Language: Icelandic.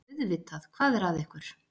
Auðvitað, hvað er að ykkur?